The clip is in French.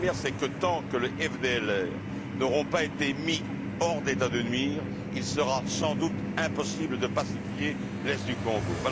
La première, c'est que tant que les FDLR n'auront pas été mis hors d'état de nuire, il sera sans doute impossible de pacifier l'est du Congo.